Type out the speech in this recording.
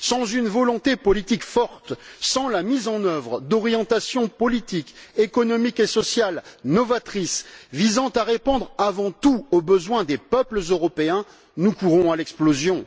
Sans une volonté politique forte, sans la mise en œuvre d'orientations politiques, économiques et sociales novatrices, visant à répondre avant tout aux besoins des peuples européens, nous courons à l'explosion.